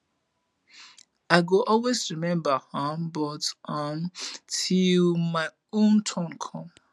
i go always remember um am um till my own turn come